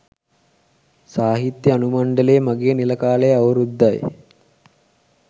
සාහිත්‍ය අනුමණ්ඩලයේ මගේ නිල කාලය අවුරුද්දයි.